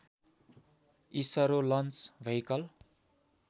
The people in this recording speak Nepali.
ISRO launch vehicle